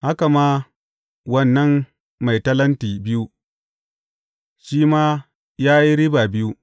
Haka ma, wannan mai talenti biyu, shi ma ya yi riba biyu.